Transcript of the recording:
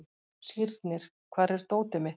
Sírnir, hvar er dótið mitt?